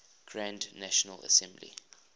grand national assembly